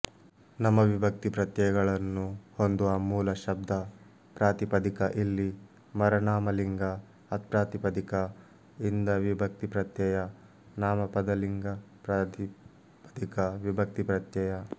ನಮವಿಭಕ್ತಿ ಪ್ರತ್ಯಯಗಳನ್ನು ಹೊಂದುವ ಮೂಲ ಶಬ್ದಪ್ರಾತಿಪದಿಕ ಇಲ್ಲಿ ಮರನಾಮಲಿಂಗ ಅತ್ಪ್ರಾತಿಪದಿಕ ಇಂದವಿಭಕ್ತಿಪ್ರತ್ಯಯ ನಾಮಪದಲಿಂಗಪ್ರಾತಿಪದಿಕವಿಭಕ್ತಿಪ್ರತ್ಯಯ